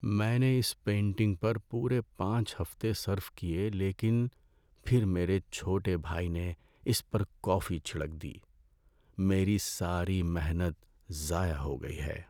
میں نے اس پینٹنگ پر پورے پانچ ہفتے صرف کئے لیکن پھر میرے چھوٹے بھائی نے اس پر کافی چھڑک دی۔ میری ساری محنت ضائع ہو گئی ہے۔